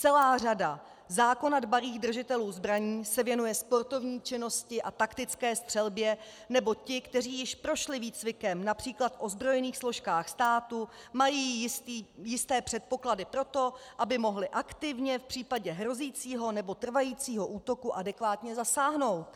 Celá řada zákona dbalých držitelů zbraní se věnuje sportovní činnosti a taktické střelbě, nebo ti, kteří již prošli výcvikem například v ozbrojených složkách státu, mají jisté předpoklady pro to, aby mohli aktivně v případě hrozícího nebo trvajícího útoku adekvátně zasáhnout.